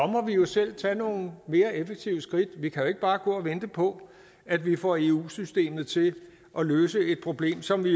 må vi jo selv tage nogle mere effektive skridt vi kan ikke bare gå og vente på at vi får eu systemet til at løse et problem som vi